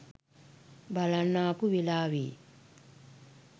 බලන්න ආපු වෙලාවෙ